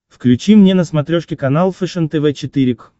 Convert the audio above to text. включи мне на смотрешке канал фэшен тв четыре к